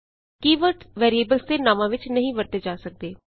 ਕੀ words variables ਦੇ ਨਾਵਾਂ ਵਿਚ ਨਹੀਂ ਵਰਤੇ ਜਾ ਸਕਦੇ